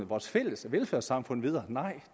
vores fælles velfærdssamfund videre